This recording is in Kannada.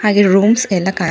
ಹಾಗು ರೂಮ್ಸ್ ಎಲ್ಲಾ ಖಾ --